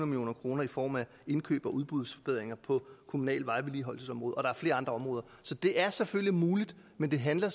million kroner i form af indkøb og udbudsforbedringer på kommunale vejvedligeholdelsesområde og der er flere andre områder så det er selvfølgelig muligt men det handler